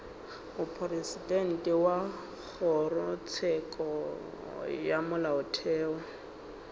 mopresidente wa kgorotsheko ya molaotheo